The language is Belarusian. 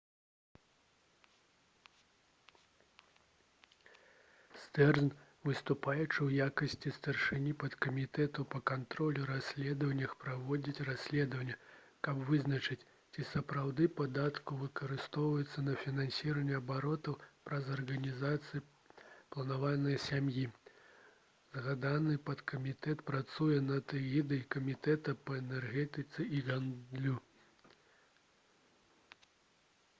стэрнз выступаючы ў якасці старшыні падкамітэта па кантролю і расследаваннях праводзіць расследаванне каб вызначыць ці сапраўды падаткі выкарыстоўваюцца на фінансаванне абортаў праз арганізацыю «планаванне сям'і». згаданы падкамітэт працуе пад эгідай камітэта па энергетыцы і гандлю